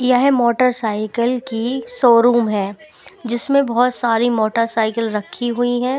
यह motorcycle की showroom है जिसमें बहुत सारी मोटर साइकिल रखी हुई हैं।